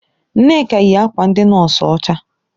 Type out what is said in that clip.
Nneka yi akwa ndị nọọsụ ọcha.